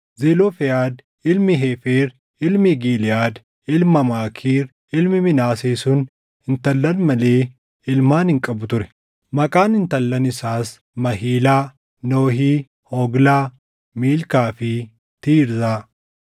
Zelofehaad ilmi Heefer, ilmi Giliʼaad, ilma Maakiir, ilmi Minaasee sun intallan malee ilmaan hin qabu ture. Maqaan intallan isaas Mahilaa, Nohii, Hoglaa, Miilkaa fi Tiirzaa.